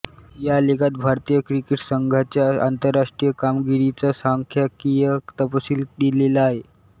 या लेखात भारतीय क्रिकेट संघाच्या आंतरराष्ट्रीय कामगिरीचा सांख्यिकीय तपशील दिलेला आहे